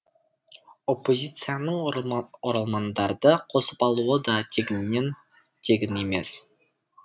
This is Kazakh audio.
оппозицияның оралмандарды қосып алуы да тегіннен тегін емес